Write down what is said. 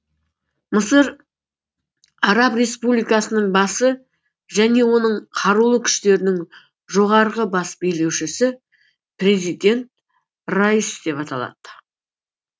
мысыр араб республикасының басы және оның қарулы күштерінің жоғарғы бас билеушісі президент раис деп аталады